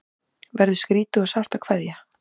Verður skrýtið og sárt að kveðja